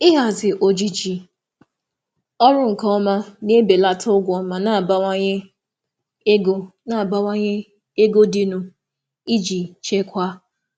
Ịhazi ojiji ọrụ nke ọma na-ebelata ụgwọ ma na-abawanye ma na-abawanye ego dịnụ iji chekwaa.